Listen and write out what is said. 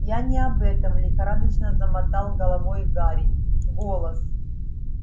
я не об этом лихорадочно замотал головой гарри голос